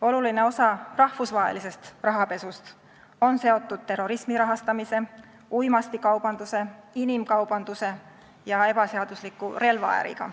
Oluline osa rahvusvahelisest rahapesust on seotud terrorismi rahastamise, uimastikaubanduse, inimkaubanduse ja ebaseadusliku relvaäriga.